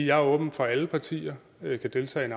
jeg er åben for at alle partier kan deltage i